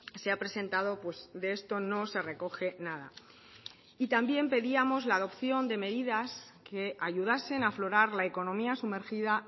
se ha presentado de esto no se recoge nada y también pedíamos la adopción de medidas que ayudasen a aflorar la economía sumergida